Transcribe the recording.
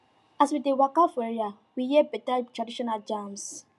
as we dey waka for area we hear beta traditional jams